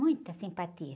Muita simpatia.